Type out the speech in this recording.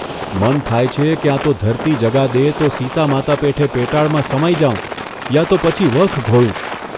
મન થાય છે ક્યાં તો ધરતી જગા દે તો સીતામાતા પેઠે પેટાળમાં સમાઈ જાઉં યા તો પછી વખ ઘોળું !